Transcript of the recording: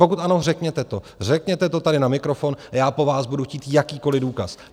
Pokud ano, řekněte to, řekněte to tady na mikrofon a já po vás budu chtít jakýkoliv důkaz.